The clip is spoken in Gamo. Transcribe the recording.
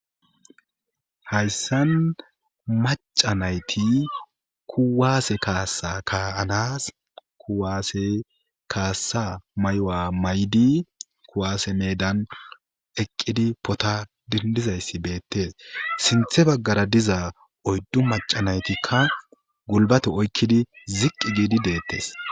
Hayssan maca nayti kuwaase kaasa kaanas kuwaase kaassa mayuwa maydi kuwaase meedan eqqidi pota dindizayssi beettees siinththe baggara diza oyddu maca naytikka gulbate oykkidi ziqqi giidi deettes